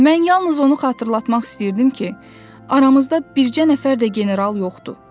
Mən yalnız onu xatırlatmaq istəyirdim ki, aramızda bircə nəfər də general yoxdur.